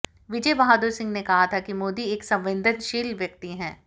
विजय बहादुर सिंह ने कहा था कि मोदी एक संवेदनशील व्यक्ति हैं